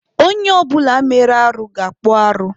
Onye ọ bụla mere arụ ga-akpụ arụ.